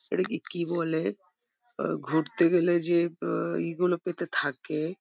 এটাকে কি বলে আ ঘুরতে গেলে যে আ ই গুলো পেতে থাকে --